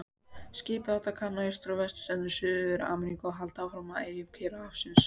Skipið átti að kanna austur- og vesturstrendur Suður-Ameríku og halda áfram að eyjum Kyrrahafsins.